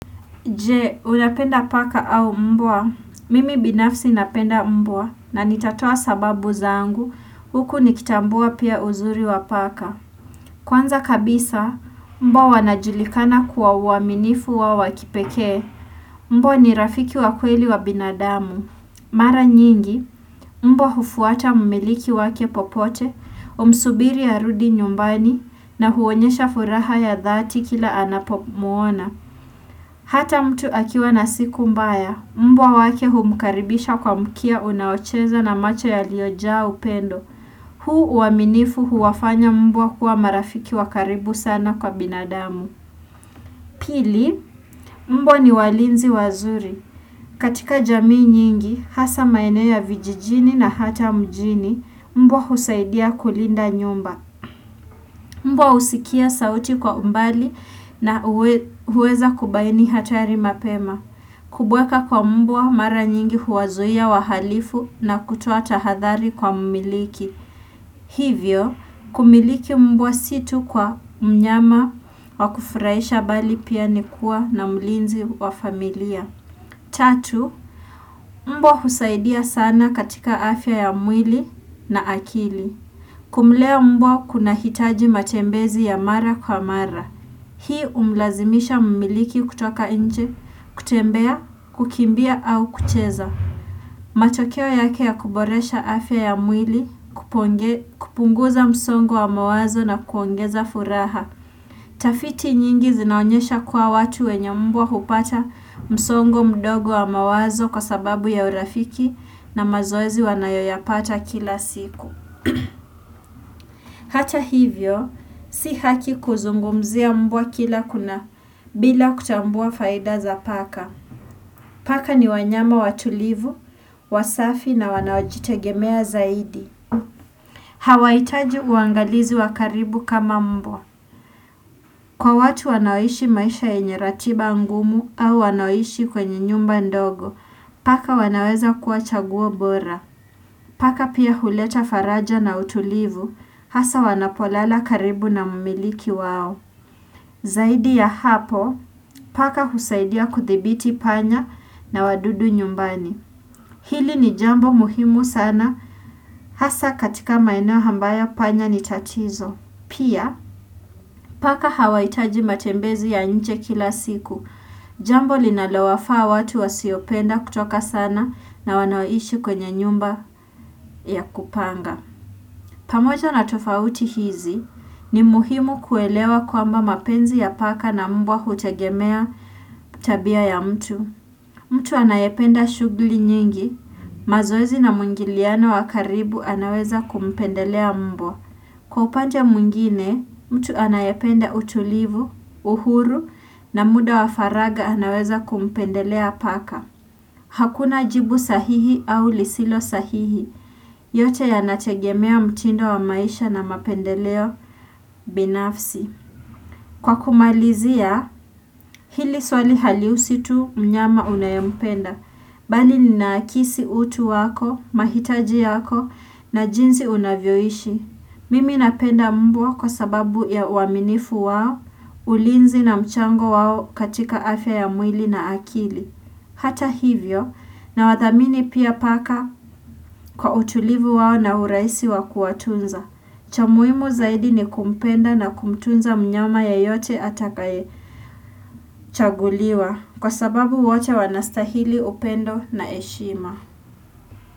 Je, unapenda paka au mbwa? Mimi binafsi napenda mbwa na nitatoa sababu zangu huku nikitambua pia uzuri wa paka. Kwanza kabisa, mbwa wanajulikana kuwa uaminifu wao wa kipekee. Mbwa ni rafiki wa kweli wa binadamu. Mara nyingi, mbwa hufuata mmiliki wake popote, humsubiri arudi nyumbani na huonyesha furaha ya dhati kila anapomuona. Hata mtu akiwa na siku mbaya, mbwa wake humkaribisha kwa mkia unaocheza na macho yaliyojaa upendo. Huu uaminifu huwafanya mbwa kuwa marafiki wa karibu sana kwa binadamu. Pili, mbwa ni walinzi wazuri. Katika jamii nyingi, hasa maeneo vijijini na hata mjini, mbwa husaidia kulinda nyumba. Mbwa husikia sauti kwa umbali na huweza kubaini hatari mapema. Kubweka kwa mbwa mara nyingi huwazuia wahalifu na kutoa tahadhari kwa mmiliki. Hivyo, kumiliki mbwa si tu kwa mnyama wa kufraisha bali pia nikua na mulinzi wa familia. Tatu, mbwa husaidia sana katika afya ya mwili na akili. Kumlea mbwa kunahitaji matembezi ya mara kwa mara. Hii umlazimisha mumiliki kutoka inje, kutembea, kukimbia au kucheza. Matokeo yake ya kuboresha afya ya mwili, kupunguza msongu wa mawazo na kuongeza furaha. Tafiti nyingi zinaonyesha kuwa watu wenye mbwa hupata msongo mdogo wa mawazo kwa sababu ya urafiki na mazoezi wanayoyapata kila siku. Hata hivyo, si haki kuzungumzia mbua kila kuna bila kutambua faida za paka Paka ni wanyama watulivu, wasafi na wanaojitegemea zaidi Hawahitaji uangalizi wakaribu kama mbua Kwa watu wanaoishi maisha enyaratiba angumu au wanaoishi kwenye nyumba ndogo Paka wanaweza kuwa chaguwa bora Paka pia huleta faraja na utulivu, hasa wanapolala karibu na mumiliki wao. Zaidi ya hapo, paka husaidia kuthibiti panya na wadudu nyumbani. Hili ni jambo muhimu sana, hasa katika maeneo hayo mbaya panya ni chatizo. Pia, paka hawaitaji matembezi ya nche kila siku. Jambo linalowafaa watu wasiopenda kutoka sana na wanaoishi kwenye nyumba ya kupanga. Pamoja na tofauti hizi ni muhimu kuelewa kwamba mapenzi ya paka na mbwa hutegemea tabia ya mtu. Mtu anayependa shughli nyingi, mazoezi na mungiliano wakaribu anaweza kumpendelea mbwa. Mtu anayependa utulivu, uhuru na muda wafaraga anaweza kumpendelea paka. Hakuna jibu sahihi au lisilo sahihi, yote yanategemea mtinindo wa maisha na mapendeleo binafsi. Kwa kumalizia, hili swali haliusitu mnyama unayampenda, bali linaakisi utu wako, mahitaji yako, na jinzi unavyoishi. Mimi napenda mbwa kwa sababu ya uaminifu wao, ulinzi na mchango wao katika afya ya mwili na akili. Hata hivyo nawathamini pia paka kwa utulivu wao na uraisi wakuwatunza. Cha muimu zaidi ni kumpenda na kumtunza mnyama ya yote atakai chaguliwa kwa sababu wache wanastahili upendo na eshima.